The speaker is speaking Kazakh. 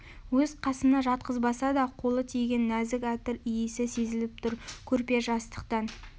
өз қасына жатқызбаса да қолы тиген нәзік әтір иісі сезіліп тұр көрпе-жастықтан